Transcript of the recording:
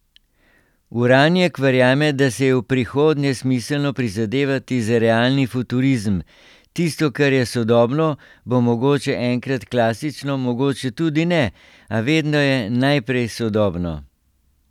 Uranjek verjame, da si je v prihodnje smiselno prizadevati za realni futurizem: 'Tisto, kar je sodobno, bo mogoče enkrat klasično, mogoče tudi ne, a vedno je najprej sodobno.